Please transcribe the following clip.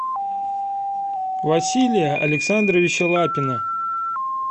василия александровича лапина